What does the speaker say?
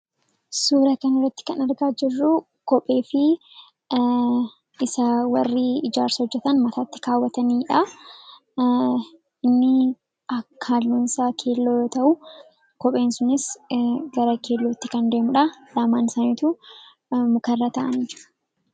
suura kan iratti kan argaa jirruu kophee fi isa warri ijaarsarra hojjatan mataatti kaawwataniidha inni akka hallunsaa keelloo ta'uu kopheen sunis gara keellotti kan deemuudha laamaan saaniitu mukarra ta'an